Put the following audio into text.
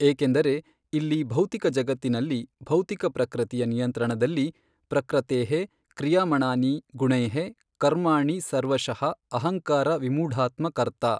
ಏಕೆಂದರೆ ಇಲ್ಲಿ ಭೌತಿಕ ಜಗತ್ತಿನಲ್ಲಿ ಭೌತಿಕ ಪ್ರಕೃತಿಯ ನಿಯಂತ್ರಣದಲ್ಲಿ ಪ್ರಕೃತೇಃ ಕ್ರಿಯಮಾಣಾನಿ ಗುಣೈಃ ಕರ್ಮಾಣಿ ಸರ್ವಶಃ ಅಹಂಕಾರ ವಿಮೂಢಾತ್ಮ ಕರ್ತಾ.